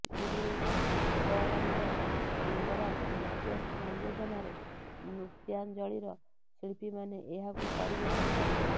ଗୁରୁ ପୁଷ୍ପରଂଜନ ମଙ୍ଗରାଜ ନୃତ୍ୟ ସଂଯୋଜନାରେ ନୃତ୍ୟାଞ୍ଜଳିର ଶିଳ୍ପୀମାନେ ଏହାକୁ ପରିବେଷଣ କରିଥିଲେ